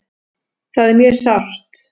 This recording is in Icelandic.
Það er mjög sárt.